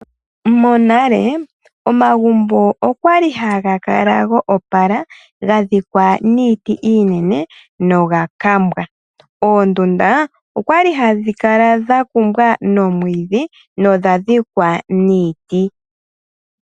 Monale omagumbo okwali haga kala go opala ga dhikwa niiti iinene noga kambwa. Oondunda okwali hadhi kala dha kumbwa nomwiidhi nodha dhikwa niiti.